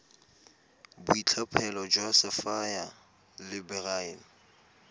boitlhophelo jwa sapphire le beryl